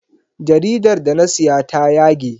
Jaridar da na siya ta yage.